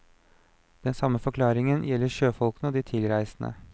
Den samme forklaringen gjelder sjøfolkene og de tilreisende.